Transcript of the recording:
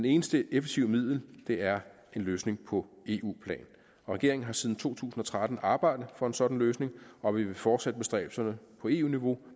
eneste effektive middel er en løsning på eu plan regeringen har siden to tusind og tretten arbejdet for en sådan løsning og vi vil fortsætte bestræbelserne på eu niveau